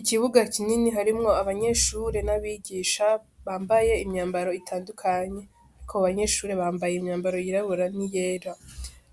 Ikibuga kinini harimwo abanyeshure n'abigisha bambaye imyambaro itandukanye, ariko abanyeshure bambaye imyambaro yirabura n'iyera,